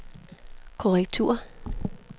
korrektur